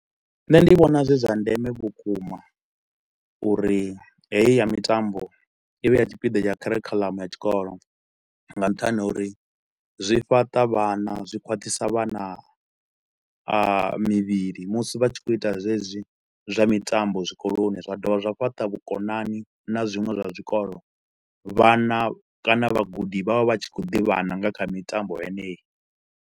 Nṋe ndi vhona zwi zwa ndeme vhukuma uri heyi ya mitambo i vhe ya tshipiḓa tsha kharikhulamu ya tshikolo nga nṱhani ha uri zwi fhaṱa vhana. Zwi khwaṱhisa vhana mivhili musi vha tshi khou ita zwezwi zwa mitambo zwikoloni zwa dovha zwa fhaṱa vhukonani na zwiṅwe zwa zwikolo. Vhana kana vhagudi vha vha vha tshi khou ḓivhana nga kha mitambo yeneyi.